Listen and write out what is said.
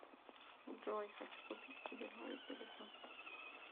джой хочу купить себе новый телефон